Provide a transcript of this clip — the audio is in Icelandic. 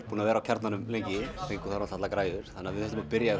búnir að vera á Kjarnanum lengi og fengum þar allar græjur við þurfum að byrja á